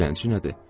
Dilənçi nədir?